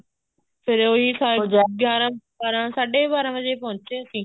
ਫ਼ੇਰ ਉਹੀ ਗਿਆਰਾਂ ਬਾਰਾਂ ਸਾਢੇ ਬਾਰਾਂ ਵਜੇ ਪਹੁੰਚੇ ਅਸੀਂ